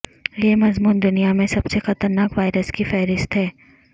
یہ مضمون دنیا میں سب سے خطرناک وائرس کی فہرست ہے